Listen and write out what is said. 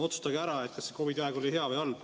Otsustage ära, kas see COVID-i aeg oli hea või halb.